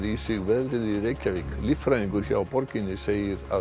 í sig veðrið í Reykjavík líffræðingur hjá borginni segir